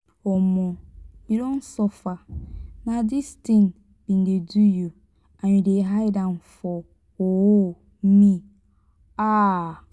um you don suffer na this thing been dey do you and you dey hide am for um me. um